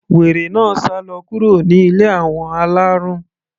Wèrè náà sálọ kúrò ní ilé àwọn alárùn.